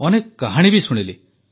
ଅନେକ କାହାଣୀ ବି ଶୁଣିଲି